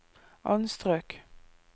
anstrøk